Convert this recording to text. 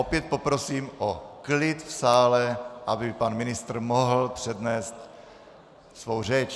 Opět poprosím o klid v sále, aby pan ministr mohl přednést svou řeč.